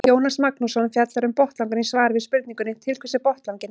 Jónas Magnússon fjallar um botnlangann í svari við spurningunni Til hvers er botnlanginn?